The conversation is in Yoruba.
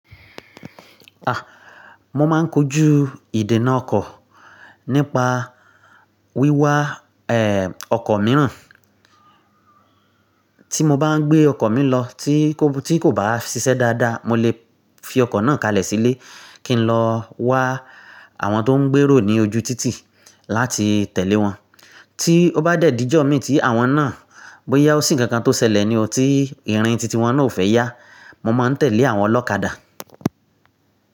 Ah! Mo máa ń kojú ìdènà ọkọ̀ nípa wíwá, ẹ, ọkọ̀ mìíràn. Tí mo bá ń gbé ọkọ̀ mi lọ tí kò bá ṣiṣẹ́ dáadáa, mo lè fi ọkọ̀ náà kalẹ̀ sílé kí n lọ wá àwọn tó ń gbèrò ní ojú títì láti tẹ̀lé wọn. Tí ó bá dẹ̀ dí ijọ mí ti àwọn náà bóyá ó sì ń kankan tó ṣẹlẹ̀ ni ọtí, irin títì wọn náà ò fẹ́ yá, mo máa ń tẹ̀lé àwọn ọlọ́kadà.